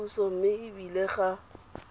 puso mme e bile ga